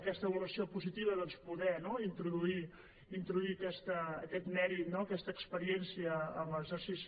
aquesta avaluació positiva doncs poder introduir aquest mèrit aquesta experiència en l’exercici